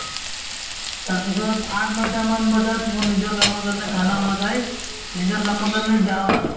তাৰপিছত আঠ নৈতা মান বজাত মোৰ নিজৰ কামৰ কাৰণে খানা ৱানা খাই নিজৰ কামৰ কাৰণে যাও আৰু